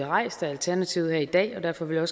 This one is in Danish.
rejst af alternativet her i dag og derfor vil jeg